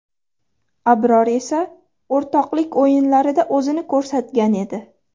Abror esa o‘rtoqlik o‘yinlarida o‘zini ko‘rsatgan edi.